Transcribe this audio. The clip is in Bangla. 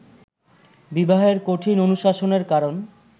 বিবাহের কঠিন অনুশাসনের কারণ